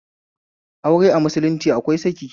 Aure a musulunci akwai saki